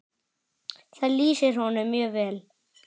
Það lýsir honum mjög vel.